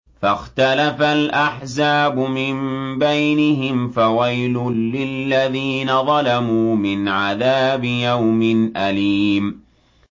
فَاخْتَلَفَ الْأَحْزَابُ مِن بَيْنِهِمْ ۖ فَوَيْلٌ لِّلَّذِينَ ظَلَمُوا مِنْ عَذَابِ يَوْمٍ أَلِيمٍ